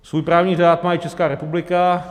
Svůj právní řád má i Česká republika.